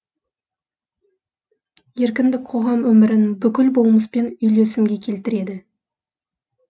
еркіндік қоғам өмірін бүкіл болмыспен үйлесімге келтіреді